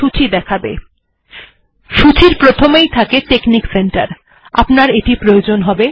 সূচীর প্রথমেই থাকে technic centre installer এটি আপনার প্রয়োজন হবে